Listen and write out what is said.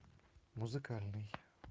музыкальный